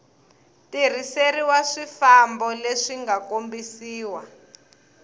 tirhiseriwa swifambo leswi nga kombisiwa